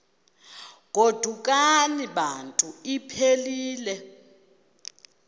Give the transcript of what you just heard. godukani bantu iphelil